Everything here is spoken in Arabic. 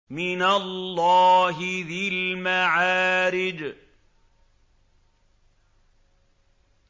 مِّنَ اللَّهِ ذِي الْمَعَارِجِ